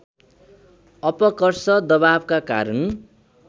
अपकर्ष दबावका कारण